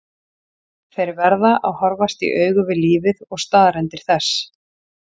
Þeir verða að horfast í augu við lífið og staðreyndir þess.